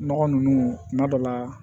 Nɔgɔ nunnu kuma dɔ la